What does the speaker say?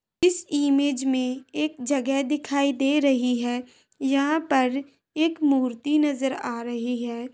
इस इमेज में एक जगह दिखाई दे रही है यहां पर एक मूर्ति नज़र आ रही है।